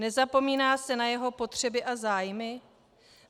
Nezapomíná se na jeho potřeby a zájmy?